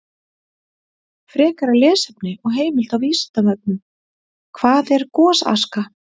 Frekara lesefni og heimild á Vísindavefnum: Hvað er gosaska?